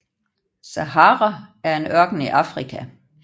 Sahara er en ørken i Afrika